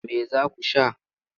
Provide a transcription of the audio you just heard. Me za ku sha?